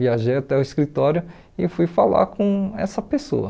Viajei até o escritório e fui falar com essa pessoa.